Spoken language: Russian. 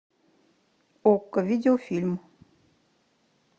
окко видеофильм